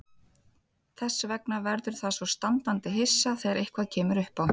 Þess vegna verður það svo standandi hissa þegar eitthvað kemur uppá.